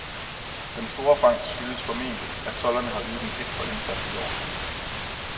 Den store fangst skyldes formentligt, at tolderne har ydet en ekstra indsats i år.